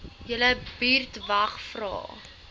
julle buurtwag vra